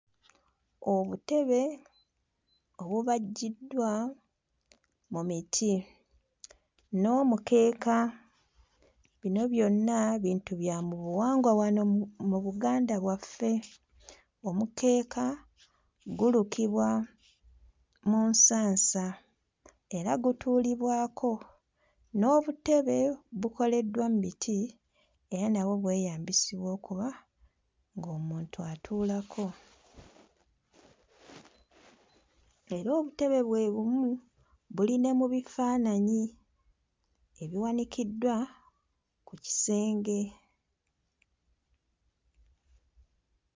Obutebe obubajjiddwa mu miti n'omukeeka bino byonna bintu bya mu buwangwa wano mu mu Buganda bwaffe. Omukeeka gulukibwa mu nsansa era gutuulibwako n'obutebe bukoleddwa mmiti era nabwo bweyambisibwa okuba ng'omuntu atuulako era obutebe bwe bumu buli ne mu bifaananyi ebiwanikiddwa ku kisenge.